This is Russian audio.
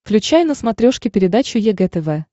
включай на смотрешке передачу егэ тв